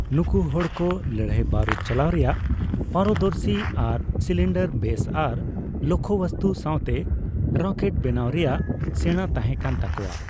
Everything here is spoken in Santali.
ᱱᱩᱠᱩ ᱦᱚᱲ ᱠᱚ ᱞᱟᱹᱲᱦᱟᱹᱭ ᱵᱟᱨᱩᱫ ᱪᱟᱞᱟᱣ ᱨᱮᱭᱟᱜ ᱯᱟᱨᱚᱫᱚᱨᱥᱤ ᱟᱨ ᱥᱤᱞᱤᱱᱰᱟᱨ ᱵᱮᱥ ᱟᱨ ᱞᱚᱠᱽᱠᱷᱚᱵᱚᱥᱛᱩ ᱥᱟᱸᱣᱛᱮ ᱨᱚᱠᱮᱴ ᱵᱮᱱᱟᱣ ᱨᱮᱭᱟᱜ ᱥᱮᱲᱟ ᱛᱟᱸᱦᱮ ᱠᱟᱱ ᱛᱟᱠᱚᱣᱟ ᱾